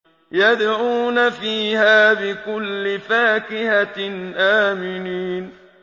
يَدْعُونَ فِيهَا بِكُلِّ فَاكِهَةٍ آمِنِينَ